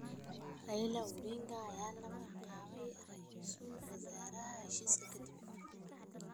Raila Odinga ayaa loo magacaabay ra�iisul wasaare heshiiska kadib.